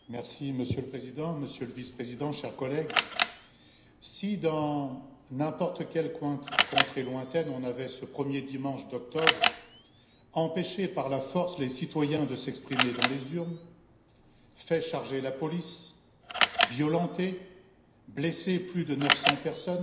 Monsieur le Président, Monsieur le Vice président, chers collègues, si dans n'importe quelle contrée lointaine, on avait, ce premier dimanche d'octobre, empêché par la force les citoyens de s'exprimer dans les urnes, fait charger la police, violenté et blessé plus de 900 personnes,